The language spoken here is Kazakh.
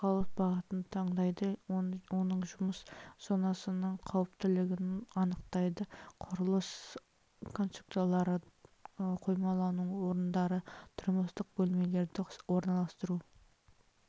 қозғалыс бағытын таңдайды оның жұмыс зонасының қауіптілігін анықтайды құрылыс конструкциялары қоймалауының орындары тұрмыстық бөлмелерді орналастыру